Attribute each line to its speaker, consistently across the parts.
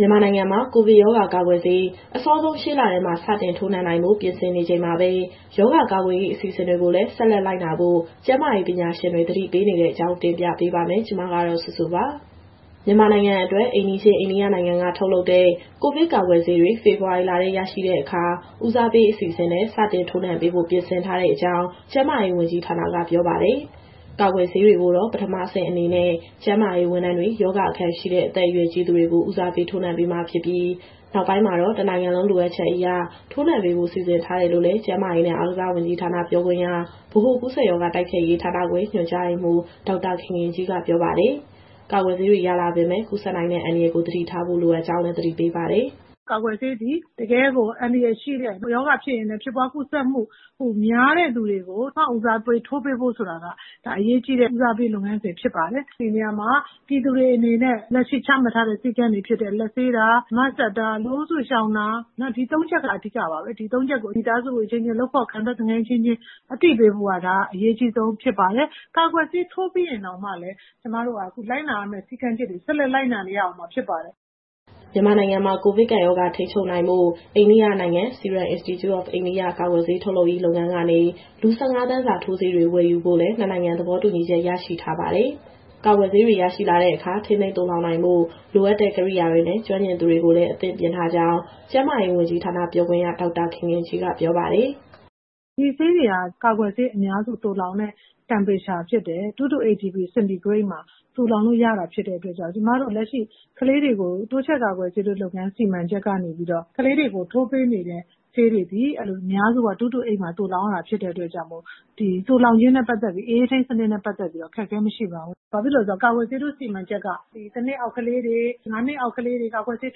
Speaker 1: မြန်မာနိုင်ငံမှာ ကိုဗစ်ရောဂါကာကွယ်ဆေး အစောဆုံး ရှေ့လထဲမှာ စတင်ထိုးနှံနိုင်ဖို့ ပြင်ဆင်နေချိန်မှာပဲ၊ ရောဂါကာကွယ်ရေး အစီအစဉ်တွေကိုလည်း ဆက်လက်လိုက်နာဖို့ ကျန်းမာရေးပညာရှင်တွေ သတိပေးနေတဲ့အကြောင်း ဗွီအိုအေမြန်မာပိုင်း သတင်းထောက် မစုစုက တင်ပြပေးပါမယ်။ မြန်မာနိုင်ငံအတွက် အိမ်နီးချင်း အိန္ဒိယနိုင်ငံက ထုတ်လုပ်တဲ့ ကိုဗစ်ကာကွယ်ဆေးတွေ ဖေဖော်ဝါရီလထဲ ရရှိတဲ့အခါ ဦးစားပေး အစီအစဉ်နဲ့ စတင်ထိုးနှံပေးဖို့ ပြင်ဆင်ထားတဲ့အကြောင်း ကျန်းမာရေးဝန်ကြီးဌာနက ပြောပါတယ်။ ကာကွယ်ဆေးကိုတော့ ပထမအဆင့်အနေနဲ့ ကျန်းမာရေးဝန်ထမ်းတွေ၊ ရောဂါအခံရှိတဲ့ အသက်အရွယ်ကြီးသူတွေကို ဦးစားပေးထိုးနှံမှာဖြစ်ပြီး နောက်ပိုင်းမှာတော့ တနိုင်ငံလုံး လိုအပ်ချက်အရ ထိုးနှံပေးဖို့ စီစဉ်ထားတယ်လို့လည်း ကျန်းမာရေးနဲ့ အားကစားဝန်ကြီးဌာနက ပြောခွင့်ရ၊ ဗဟိုကူးစက်ရောဂါ တိုက်ဖျက်ရေးဌာနခွဲ ညွှန်ကြားရေးမှူး ဒေါက်တာခင်ခင်ကြီးကပြောပါတယ်။ ကာကွယ်ဆေးတွေ ရလာပေမဲ့လည်း ကူးစက်နိုင်တဲ့ အန္တရာယ်ကို သတိထားဖို့ လိုအပ်ကြောင်းလည်း သတိပေးပါတယ်။
Speaker 2: "ကာကွယ်ဆေးသည် တကယ့်ကိုအန္တရာယ်ရှိတဲ့ ရောဂါဖြစ်ရင်လည်း ဖြစ်ပွားကူးစက်မှု ပိုများတဲ့သူတွေကို ပထမဦးစားပေးထိုးပေးဖို့ဆိုတာက ဒါအရေးကြီးတဲ့ ဦးစားပေးလုပ်ငန်းစဉ် ဖြစ်ပါတယ်။ ဒီနေရာမှာ ပြည်သူတွေအနေနဲ့ လက်ရှိချမှတ်ထားတဲ့ စည်းကမ်းတွေဖြစ်တဲ့ လက်ဆေးတာ၊ Mask တပ်တာ၊ လူအုပ်စုရှောင်တာ၊ ဒီ ၃ ချက်က အဓိကပါပဲ။ ဒီ ၃ ချက်ကို မိသားစုအချင်းချင်း၊ လုပ်ဖော်ကိုင်ဖက် သူငယ်ချင်းအချင်းချင်း အသိပေးဖို့က ဒါအရေးကြီးဆုံးဖြစ်ပါတယ်။ ကာကွယ်ဆေးထိုးပြီးရင်တောင်မှလည်း ကျမတို့က အခုလိုက်နာရမယ့်စည်းကမ်းချက်တွေ ဆက်လက်လိုက်နာနေရဦးမှာဖြစ်ပါတယ်။"
Speaker 1: မြန်မာနိုင်ငံမှာ ကိုဗစ်ကပ်ရောဂါ ထိန်းချုပ်ဖို့ အိန္ဒိယနိုင်ငံ Serum Institute Of India ကာကွယ်ဆေးထုတ်လုပ်ရေး လုပ်ငန်းကနေ လူ ၁၅ သန်းစာ ထိုးဆေးတွေ ဝယ်ယူဖို့လည်း ၂ နိုင်ငံသဘောတူညီချက် ရရှိထားပါတယ်။ ကာကွယ်ဆေးတွေ ရရှိလာတဲ့အခါ ထိန်းသိမ်းသိုလှောင်နိုင်ဖို့ လိုအပ်တဲ့ ကိရိယာတွေနဲ့ ကျွမ်းကျင်သူတွေကိုလည်း အသင့်ပြင့်ထားကြောင်း ကျန်းမာရေးဝန်ကြီးဌာန ပြောခွင့်ရဒေါက်တာခင်ခင်ကြီးက ပြောပါတယ်
Speaker 2: ။ "ဒီဆေးတွေဟာ ကာကွယ်ဆေးအများစု သိုလှောင်တဲ့ Temperature ဖြစ်တဲ့ 2-8ºC မှာ သိုလှောင်လို့ရတာဖြစ်တဲ့အတွက်ကြောင့် ကျမတို့လက်ရှိ ကလေးတွေကိုတိုးချဲ့ကာကွယ်ဆေးထိုးလုပ်ငန်း စီမံချက်ကနေပြီးတော့ ကလေးတွေကိုထိုးပေးနေတဲ့ ဆေးတွေသည် အများစုက အဲလို 2-8 မှာ သိုလှောင်ရတာဖြစ်တဲ့အတွက်ကြောင့် သိုလှောင်ခြင်းနဲ့ပတ်သက်ပြီး၊ အအေးထိန်းစနစ်နဲ့ ပတ်သက်လို့ကတော့ အခက်အခဲ မရှိပါဘူး။ ဘာဖြစ်လို့လဲဆိုတော့ ကာကွယ်ဆေးထိုးစီမံချက်က ၁ နှစ်အောက်ကလေးတွေ၊ ၅ နှစ်အောက်ကလေးတွေကို ကာကွယ်ဆေး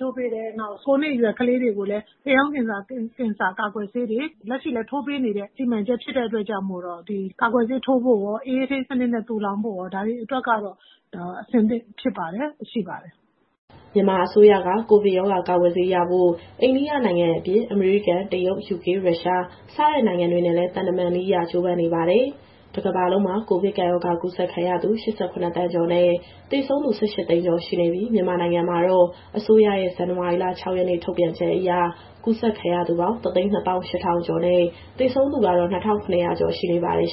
Speaker 2: ထိုးပေးတယ်။ နောက် ၉ နှစ်အရွယ်ကလေးတွေကိုလည်း သားအိမ်ခေါင်းကင်ဆာကာကွယ်ဆေးတွေ လက်ရှိလည်း ထိုးပေးနေတဲ့ စီမံချက်ဖြစ်တဲ့အတွက်ကြောင့် ဒီကာကွယ်ဆေးထိုးဖို့ကိုရော၊ အအေးထိန်းစနစ်နဲ့ သိုလှောင်ဖို့ကိုရော ဒါတွေအတွက်ကတော့ အဆင်သင့်ဖြစ်ပါတယ်၊ ရှိပါတယ်။
Speaker 1: " မြန်မာအစိုးရက ကိုဗစ်ရောဂါ ကာကွယ်ဆေးရဖို့ အိန္ဒိယနိုင်ငံအပြင် အမေရိကန်၊ တရုတ်၊ ယူကေ၊ ရုရှား စတဲ့နိုင်ငံတွေနဲ့လည်း သံတမန်နည်းအရ ကြိုးပမ်းနေပါတယ်။ တကမ္ဘာလုံးမှာ ကိုဗစ်ရောဂါကူးစက်ခံရသူ ၈၇ သန်းကျော်နဲ့ သေဆုံးသူ ၁၈ သိန်းကျော် ရှိနေပြီး၊ မြန်မာနိုင်ငံမှာတော့ အစိုးရရဲ့ဇန်နဝါရီလ ၆ ရက်နေ့ ထုတ်ပြန်ချက်အရ ကူးစက်ခံရသူပေါင်း ၁၂၈,၀၀၀ ကျော်နဲ့ သေဆုံးသူကတော့ ၂,၇၀၀ ကျော်ရှိပါတယ်